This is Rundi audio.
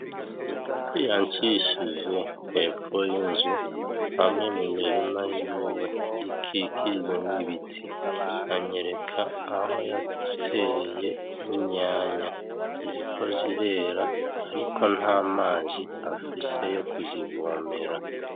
Yancishije hepfo y'inzu hamwe mu mirima yiwe ikikujwe n'ibiti anyereka aho yateye inyanya ziriko zirera ariko nta mazi afise yo kuzivomera.